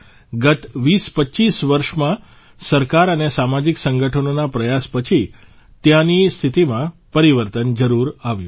ગત 2025 વર્ષમાં સરકાર અને સામાજીક સંગઠનોના પ્રયાસ પછી ત્યાંની સ્થિતિમાં પરિવર્તન જરૂર આવ્યું છે